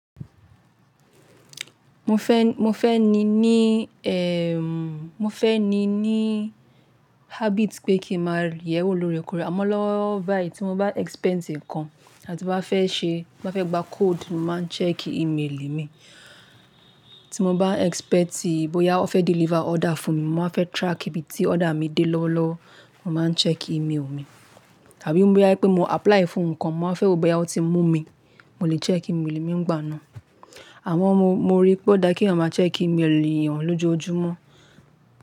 Mo fẹ́n, mo fẹ́ ní ní ẹmmm, mo fẹ́ ní ní habit pé kí n maa rí ẹ̀ wo lóorekoore. Àmọ́ lówolowo bayií tí mo bá expect nǹkan àti bá fẹ́ ṣe, bá fẹ́ gba code, mo máa ń check email mi. Tí mo bá expecti bóyá wọ́n fẹ́ deliver order fún mi, mo wa fẹ́ track ibi tí order mi dé lọ́wọ́lọ́wọ́, mo máa ń check email mi. Àbí bóyá wipé mo apply fún nǹkan, mo máa n fẹ́ wò bóyá wón ti mú mi, mo lè check email mi nigbà náà. Àmọ́ mo, mo rí pe o daa keeyan máa check email èeyàn lójojúmọ́.